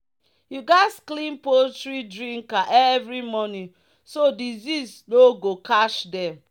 "you gats clean poultry drinker every morning so disease no go catch dem."